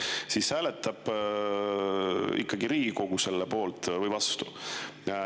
Ja siis hääletab Riigikogu selle poolt või vastu.